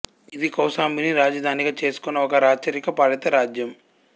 ఇది కౌశాంబిని రాజధానిగా చేసుకున్న ఒక రాచరిక పాలిత రాజ్యం